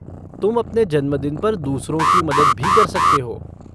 तुम अपने जन्मदिन पर दूसरों की मदद भी कर सकते हो।